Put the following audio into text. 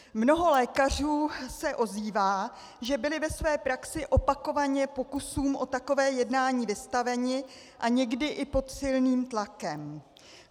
Mnoho lékařů se ozývá, že byli ve své praxi opakovaně pokusům o takové jednání vystaveni, a někdy i pod silným tlakem.